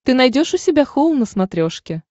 ты найдешь у себя хоум на смотрешке